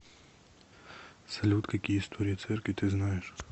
салют какие история церкви ты знаешь